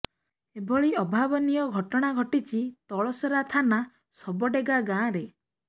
ଏଭଳି ଅଭାବନୀୟ ଘଟଣା ଘଟିଛି ତଳସରା ଥାନା ସବଡେଗା ଗାଁରେ